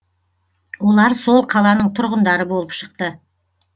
олар сол қаланың тұрғындары болып шықты